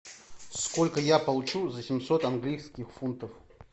сколько я получу за семьсот английских фунтов